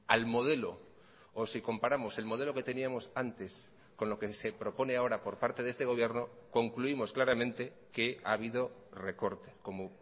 al modelo o si comparamos el modelo que teníamos antes con lo que se propone ahora por parte de este gobierno concluimos claramente que ha habido recorte como